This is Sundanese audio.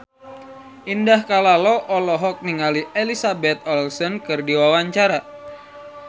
Indah Kalalo olohok ningali Elizabeth Olsen keur diwawancara